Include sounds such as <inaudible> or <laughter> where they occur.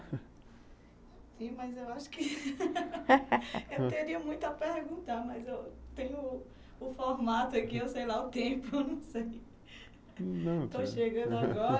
<laughs> Sim, mas eu acho que eu teria muito a perguntar, mas eu tenho o formato aqui, eu sei lá o tempo, eu não sei <laughs> <unintelligible>